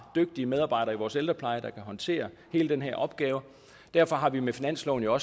dygtige medarbejdere i vores ældrepleje der kan håndtere hele den her opgave derfor har vi med finansloven jo